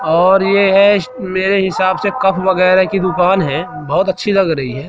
और यह श मेरे हिसाब से कप वगैरह की दुकान है बहोत अच्छी लग रही है।